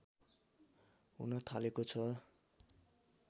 हुन थालेको छ